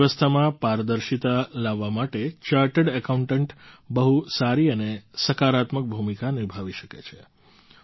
અર્થવ્યવસ્થામાં પારદર્શિતા લાવવા માટે ચાર્ટર્ડ એકાઉન્ટન્ટ બહુ સારી અને સકારાત્મક ભૂમિકા નિભાવી શકે છે